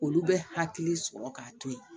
Olu bɛ hakili sɔrɔ k'a to yen